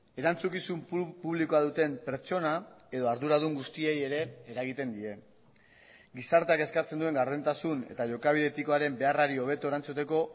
erantzukizun publikoa duten pertsona edo arduradun guztiei ere eragiten die gizarteak eskatzen duen gardentasun eta jokabide etikoaren beharrari hobeto erantzuteko